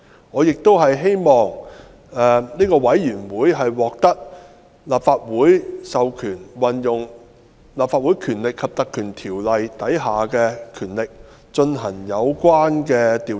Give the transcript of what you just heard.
我亦希望該委員會獲立法會授權，運用《立法會條例》第92條下的權力進行有關調查。